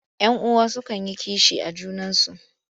Yan uwa sukan yi kishi a junansu.